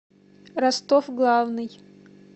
ростов главный